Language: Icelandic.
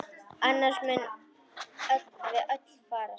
Annars munum við öll farast!